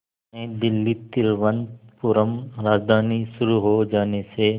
नई दिल्ली तिरुवनंतपुरम राजधानी शुरू हो जाने से